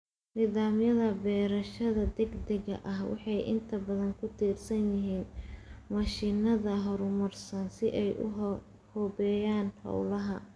Nidaamyada beerashada degdega ah waxay inta badan ku tiirsan yihiin mashiinada horumarsan si ay u habeeyaan hawlaha.